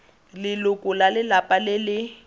leloko la lelapa le le